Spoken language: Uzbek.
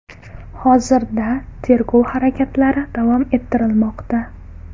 Hozirda tergov harakatlari davom ettirilmoqda.